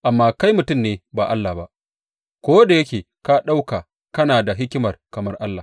Amma kai mutum ne ba allah ba, ko da yake ka ɗauka kana da hikima kamar allah.